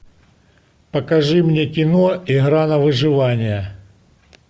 покажи мне кино игра на выживание